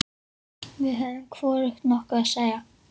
Við höfðum hvorugt nokkuð að segja.